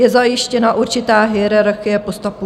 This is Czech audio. Je zajištěna určitá hierarchie postupů.